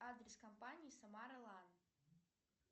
адрес компании самара лан